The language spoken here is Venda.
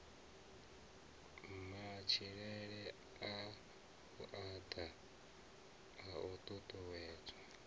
matshilele a vhuaḓa a ṱuṱuwedzwa